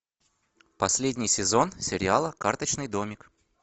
последний сезон сериала карточный домик